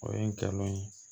O ye n galon ye